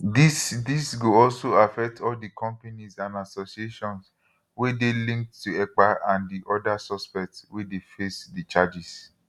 dis dis go also affect all di companies and associations wey dey linked to ekpa and di oda suspects wey dey face di charges